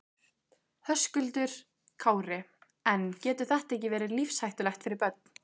Höskuldur Kári: En getur þetta verið lífshættulegt fyrir börn?